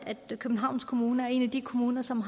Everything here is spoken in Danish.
at københavns kommune er en af de kommuner som